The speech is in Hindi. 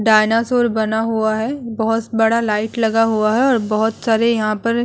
डायनासोर बना हुआ है बहोत बड़ा लाइट लगा हुआ है और बहोत सारे यहाँ पर --